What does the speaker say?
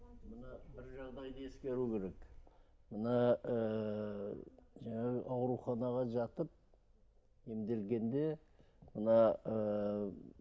бір жағдайды ескеру керек мына ыыы жаңағы ауруханаға жатып емделгенде мына ыыы